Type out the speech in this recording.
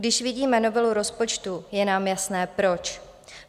Když vidíme novelu rozpočtu, je nám jasné, proč.